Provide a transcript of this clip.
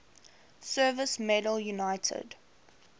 service medal united